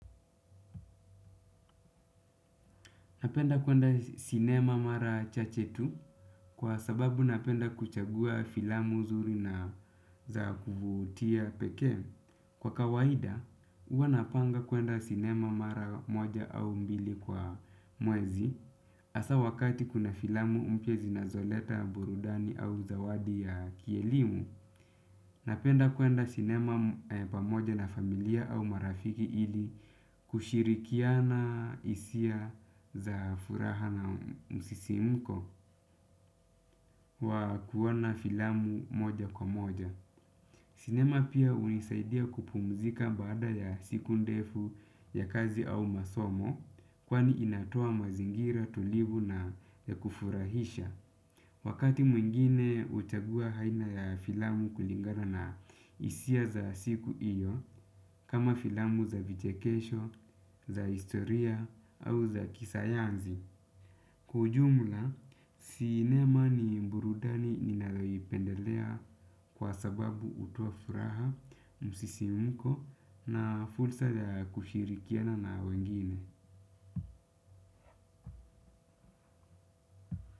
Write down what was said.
Napenda kuenda sinema mara chache tu kwa sababu napenda kuchagua filamu zuri na za kuvutia pekee. Kwa kawaida, huwa napanga kuenda sinema mara moja au mbili kwa mwezi. Hasa wakati kuna filamu mpya zinazoleta burudani au zawadi ya kielimu. Napenda kuenda sinema pamoja na familia au marafiki ili kushirikiana hisia za furaha na msisimko wa kuona filamu moja kwa moja. Sinema pia hunisaidia kupumzika baada ya siku ndefu ya kazi au masomo kwani inatoa mazingira tulivu na ya kufurahisha. Wakati mwingine huchagua aina ya filamu kulingana na hisia za siku hiyo kama filamu za vichekesho, za historia au za kisayansi. Kwa ujumla, sinema ni burudani ninayoipendelea kwa sababu hutoa furaha, msisimko na fursa ya kushirikiana na wengine.